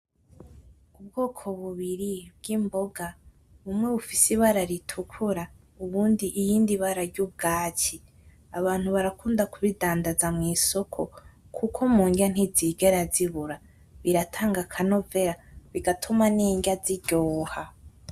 Ubwoko bubiri bw'imboga. Rumwe rufise ibara ritukura, iyindi ibara ry'ubwatsi . Abantu barakunda kubidandaza mw'isoko kuko mundya ntizigera zibura. Biratanga akanovera bigatuma n'indya ziryoha.